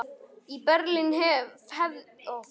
Í Berlín hefðuð þið hiklaust verið skotnir á staðnum.